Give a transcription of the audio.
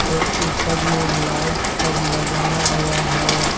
सबसे ऊपर में लाइट सब लगाया गया है।